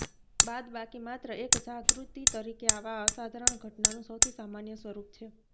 બાદબાકી માત્ર એક જાગૃતિ તરીકે આવા અસાધારણ ઘટનાનું સૌથી સામાન્ય સ્વરૂપ છે